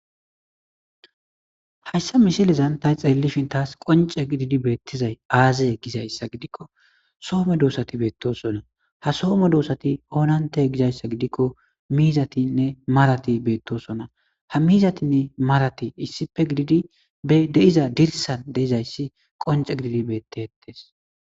Hayssa mishilezan ta xeellishin taas qonce gididi beettizay aazaye gizayssa gidikko soome doosati beettosonna ha soome doosati oonante gizayssa gidikko miizatinne marati beettosonna ha miizatinne marati issipe gididi e deiza dirsan deizayssi qonce gididi beettettes.